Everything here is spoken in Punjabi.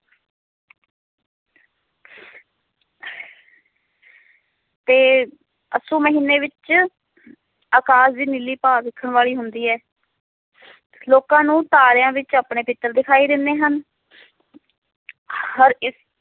ਤੇ ਅੱਸੂ ਮਹੀਨੇ ਵਿਚ ਅਕਾਸ਼ ਦੀ ਨੀਲੀ ਭਾਅ ਵੇਖਣ ਵਾਲੀ ਹੁੰਦੀ ਹੈ ਲੋਕਾਂ ਨੂੰ ਤਾਰਿਆਂ ਵਿਚ ਆਪਣੇ ਪਿਤ੍ਰ ਵਿਖਾਈ ਦਿੰਦੇ ਹਨ ਹਰ ਇਸ